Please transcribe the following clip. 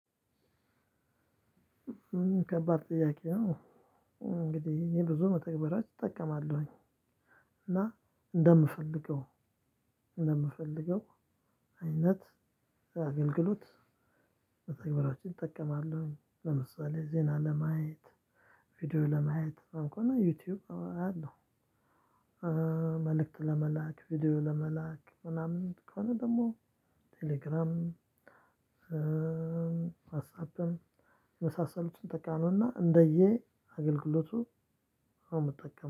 ከባድ ጥያቄ ነው። እንግዲህ ይሄ ብዙ መተግበሪያ እጠቀማለሁኝ። እና እንደምፈልገው እንደምፈልገው አይነት አገልግሎት። በተግባራችን እጠቀማለሁኝ ለምሳሌ ዜና ለማየት ቪዲዮ ለማየት እና ዩቲዩብአያለሁ። መልእክት ለመላክ ቪዲዮ ለመላክ ምናምን ከሆነ ደግሞ ቴሌግራም። ዋትሳፕም የመሳሰሉትን ምጠቀመውና እንደየ አገልግሎቱ ነው ምጠቀም